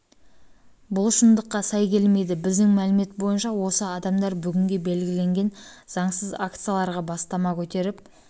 бұл шындыққа сай келмейді біздің мәлімет бойынша осы адамдар бүгінге белгіленген заңсыз акцияларға бастама көтеріп